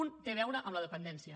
un té a veure amb la dependència